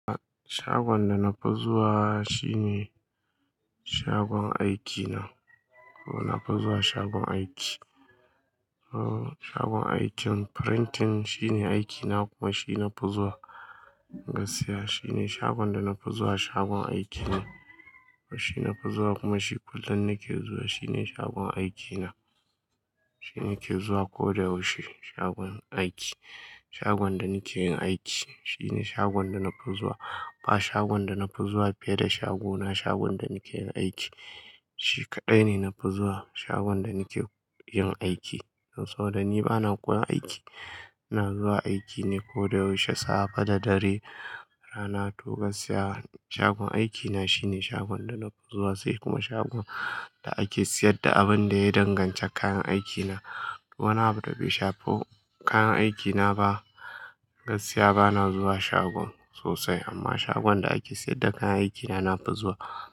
Shagon da na fi zuwa shine shagon aikina. Na fi zuwa shagon aiki. Oh shagon aikin printing shine aikina kuma shi na fi zuwa gaskiya. Shine shagon da na fi zuwa, shagon aikine. Shi na fi zuwa kuma shi kullum nake zuwa shine shagon aikina. Shini ke zuwa kodayaushe shagon aiki. Shagon da nike yin aiki shine shagon da na fi zuwa. Ba shagon da na fi zuwa fiye da shagona, shagon da nake yin aiki shi kaɗai ne na fi zuwa shagon da nake yin aiki. Saboda ni bana ƙura aiki, ina zuwa aiki ne koyaushe safe da dare, rana, to gaskiya. Shagon aikina shine shagon da na fi zuwa sai kuma shagon da ake sayar da abin da ya danganci kayan aikina. Wani abu da bai shafi kayan aikina ba gaskiya bana zuwa shagon sosai amma shagon da ake sayar da kayan aikina na fi zuwa.